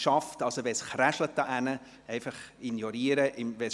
Wenn es dort drüben knistert, ignorieren Sie es bitte.